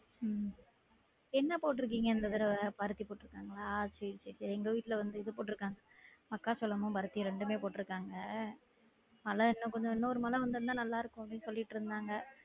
உம் என்ன போட்டுருகீங்க இந்த தடவ பருத்தி போட்டுருக்காங்களா சேரி சேரி எங்க வீட்ல வந்து இது போட்டுருகாங்க மக்காச்சோளமும் பருத்தியும் ரெண்டுமே போட்டுருக்காங்க மழை இன்னம் கொஞ்சம் இன்னொரு மழை விழுந்தா நல்லா இருக்கும் அப்டின்னு சொல்லிட்டு இருந்தாங்க